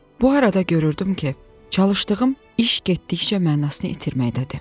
Bu arada görürdüm ki, çalışdığım iş getdikcə mənasını itirməkdədir.